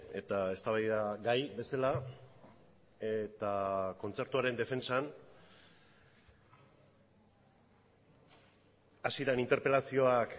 eta eztabaidagai bezala eta kontzertuaren defentsan hasieran interpelazioak